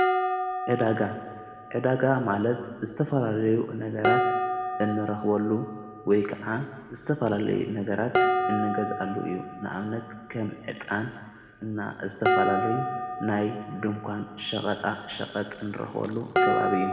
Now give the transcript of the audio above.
ዕዳጋ ዕዳጋ ማለት ዝተፈላለዩ ነገራት እንረኽበሉ ወይ ከዓ ዝተፈላለዩ ነገራት እንገዛሉ እዩ ንኣብነት ከም ዕጣን እና እተፈላለዩ ናይ ድንኳን ሸቐጣ ሸቐጥ እንረኽበሉ ከባቢ እዩ።